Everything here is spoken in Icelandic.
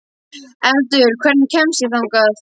Eldur, hvernig kemst ég þangað?